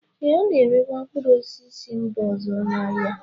Ee, a na-erekwa mkpụrụ osisi si mba ọzọ n'ahịa